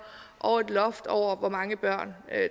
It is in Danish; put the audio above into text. og et loft over hvor mange børn